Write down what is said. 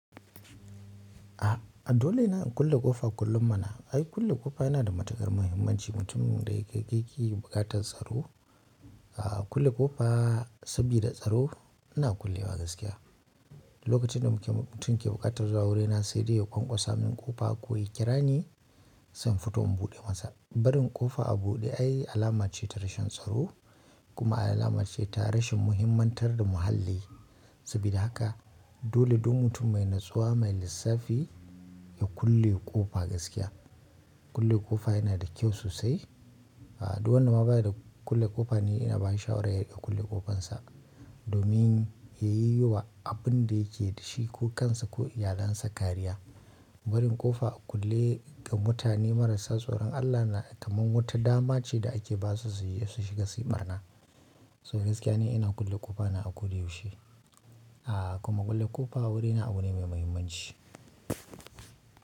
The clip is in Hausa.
A dole ne a kulle ƙofa kullum mana. Ai kulle ƙofa yana da matuƙar muhimmanci. Mutum da yake kai ke buƙatar tsaro. Kulle ƙofa sabida tsaro ina kullewa gaskiya. Lokacin da muke-- mutum ke buƙatar zuwa wurina sai dai ya ƙwanƙwasa min ƙofa ko ya kira ni sai in fito in buɗe masa. Barin ƙofa a buɗe ai alama ce ta rashin tsaro kuma alama ce ta rashin muhimantar da muhalli. Sabida haka, dole duk mutum mai natsuwa mai lissafi ya ƙulle kofa gaskiya. Kulle ƙofa yana da kyau sosai. Duk wanda ma baya da kulle ƙofa ni ina bashi shawara ya ƙulle ƙofansa domin ya yi wa abun da yake da shi ko kansa ko iyalinsa kariya. Barin ƙofa a kulle ga mutane marasa tsoron Allah na kamar wata dama ce da ake ba su su yi su shiga su yi ɓarna. So gaskiya ni ina kulle ƙofa na a ko da yaushe. Kuma kulle ƙofa a wurina abu ne mai muhimmanci.